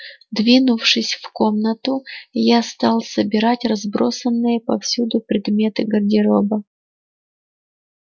двинувшись в комнату я стал собирать разбросанные повсюду предметы гардероба